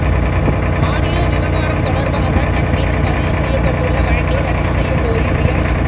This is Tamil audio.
ஆடியோ விவகாரம் தொடர்பாக தன்மீது பதிவு செய்யப்பட்டுள்ள வழக்கை ரத்து செய்யக் கோரி உயர்